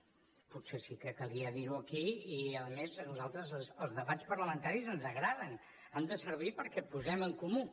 bé potser sí que calia dir ho aquí i a més a nosaltres els debats parlamentaris ens agraden han de servir perquè posem en comú